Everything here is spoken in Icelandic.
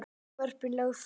Frumvörpin lögð fram